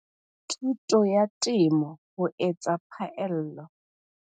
Thuto ya Temo ho etsa Phaello.